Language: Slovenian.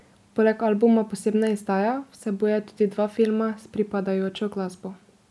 Poleg albuma posebna izdaja vsebuje tudi dva filma s pripadajočo glasbo.